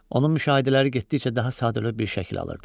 Onun müşahidələri getdikcə daha sadə bir şəkil alırdı.